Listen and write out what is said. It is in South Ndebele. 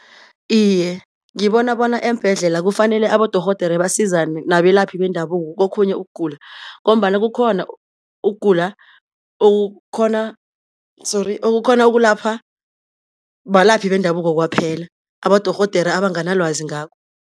Iye, ngibona bona eembhedlela kufanele abodorhodere basizane nabelaphi bendabuko kokhunye ukugula, ngombana kukhona ukugula okukhona sorry okukhona ukulapha balaphi bendabuko kwaphela abodorhodera abanganalwazi ngakho.